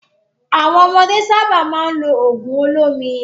Àwọn ọmọdé sábà máa ń lo òògùn olómi.